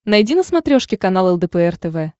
найди на смотрешке канал лдпр тв